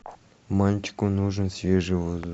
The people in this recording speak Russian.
мальчику нужен свежий воздух